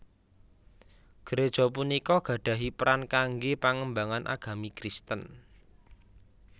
Gereja punika gadhahi peran kanggé pangembangan agami Kristen